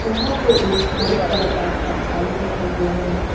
यहां पे एक व्हाइट कलर का पंखा भी रखा गया है।